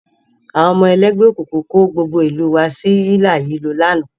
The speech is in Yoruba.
Àwọn ọmọ ẹlẹ́gbẹ́ òkùnkùn kó gbogbo ìlú u wa sí hílàhílo lánàá